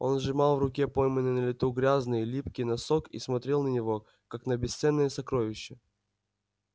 он сжимал в руке пойманный на лету грязный липкий носок и смотрел на него как на бесценное сокровище